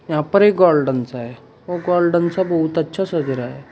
यहां पर एक गार्डन सा है वह गार्डन सा बहुत अच्छा सज रहा है।